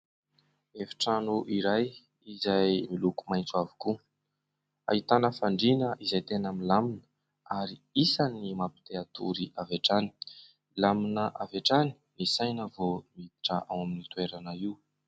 Efi-trano iray izay miloko maitso avokoa, ahitana fandriana izay tena milamina ary isan'ny mampite hatory avy hatrany. Milamina avy hatrany ny saina vao miditra ao amin'io toerana io.